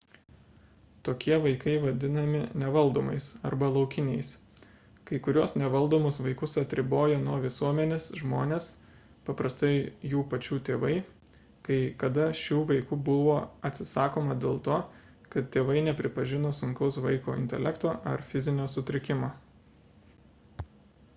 tokie vaikai vadinami nevaldomais arba laukiniais. kai kuriuos nevaldomus vaikus atribojo nuo visuomenės žmonės paprastai jų pačių tėvai; kai kada šių vaikų buvo atsisakoma dėl to kad tėvai nepripažino sunkaus vaiko intelekto ar fizinio sutrikimo